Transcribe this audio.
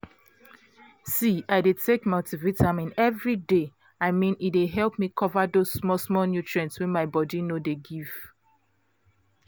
see i dey take multivitamin every day. i mean e dey help me cover those small-small nutrient wey my food no dey give